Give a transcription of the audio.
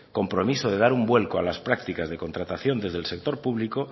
compromiso de dar un vuelto a las prácticas de contratación desde el sector público